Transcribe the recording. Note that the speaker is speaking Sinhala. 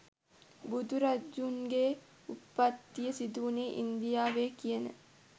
බුදුරජුන්ගේ උත්පත්තිය සිදුවුණේ ඉන්දියාවේ කියන